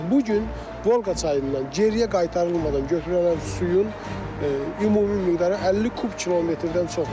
Bu gün Volqa çayından geriyə qaytarılmadan götürülən suyun ümumi miqdarı 50 kub kilometrdən çoxdur.